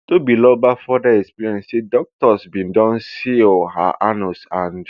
tobiloba further explain say doctors bin don seal her anus and